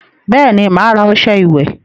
Bẹẹni, ma ara ọsẹ ìwẹ̀